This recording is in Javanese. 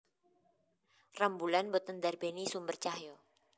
Rembulan boten ndarbéni sumber cahya